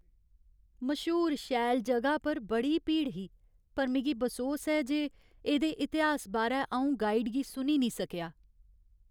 मश्हूर शैल ज'गा पर बड़ी भीड़ ही पर मिगी बसोस ऐ जे एह्दे इतिहास बारै अऊं गाइड गी सुनी निं सकेआ ।